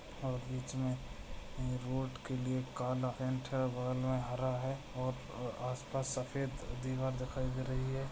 और बीच में अ रोड के लिए काला पैंट है बगल में हरा है और आसपास सफेद दीवार दिखाई दे रही है।